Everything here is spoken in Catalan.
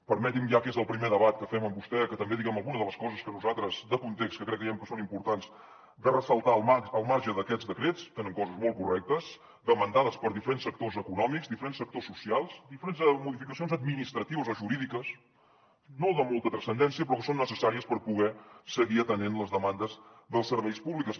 permeti’m ja que és el primer debat que fem amb vostè que també diguem alguna de les coses que nosaltres de context creiem que són importants de ressaltar al marge d’aquests decrets que tenen coses molt correctes demanades per diferents sectors econòmics diferents sectors socials diferents modificacions administratives o jurídiques no de molta transcendència però que són necessàries per poder seguir atenent les demandes dels serveis públics